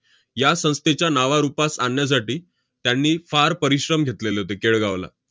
या संस्थेच्या नावारूपास आणण्यासाठी त्यांनी फार परिश्रम घेतलेले होते केळगावला.